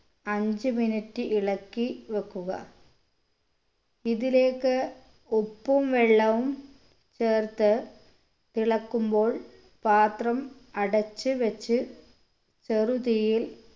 അഞ്ച് minute ഇളക്കി വെക്കുക ഇതിലേക്ക് ഉപ്പും വെള്ളവും ചേർത്ത് തിളക്കുമ്പോൾ പാത്രം അടച്ച് വെച്ച് ചെറു തീയിൽ